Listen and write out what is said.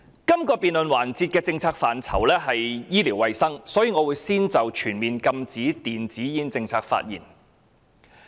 這個辯論環節的政策範疇包括醫療衞生服務，所以我會先就全面禁止電子煙的政策發言。